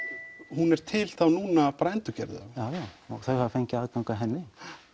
hún er til núna endurgerð já já og þau hafa fengið aðgang að henni